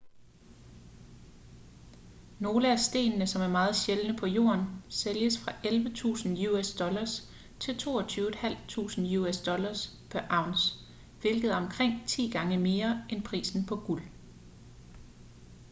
nogle af stenene som er meget sjældne på jorden sælges fra 11.000 us$ til $22.500 us$ pr. ounce hvilket er omkring ti gange mere end prisen på guld